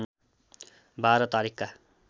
१२ तारिखका